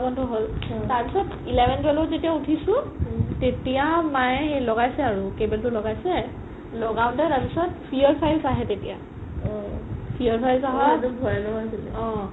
বন্ধো হ'ল তাৰ পিছত eleven twelve ত যেতিয়া উথিছো তেতিয়া মায়ে লগাইছে আৰু cable টো লগাইছে লাগাওতে তাৰ পিছত fear files আহে তেতিয়া fear files আহা অ